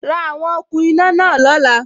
Ra àwon okùn iná náà lóla